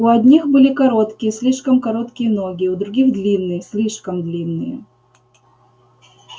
у одних были короткие слишком короткие ноги у других длинные слишком длинные